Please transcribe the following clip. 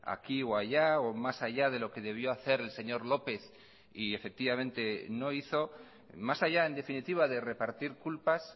aquí o allá o más allá de lo que debió hacer el señor lópez y efectivamente no hizo más allá en definitiva de repartir culpas